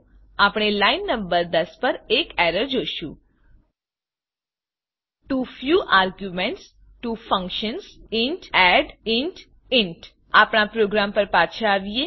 આપણે line number 10 પર error જોશું too few arguments to functions int add int int આપણા પ્રોગ્રામ પર પાછા આવીએ